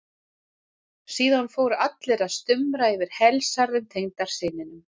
Síðan fóru allir að stumra yfir helsærðum tengdasyninum.